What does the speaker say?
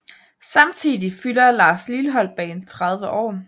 Samtidig fylder Lars Lilholt Band 30 år